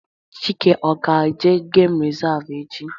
Chike ọ ga-eje geem resavu echi?